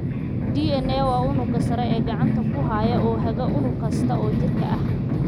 DNA waa unugga sare ee gacanta ku haya oo haga unug kasta oo jirka ah.